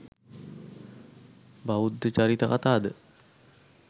බෞද්ධ චරිත කතා ද